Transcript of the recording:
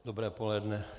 Dobré poledne.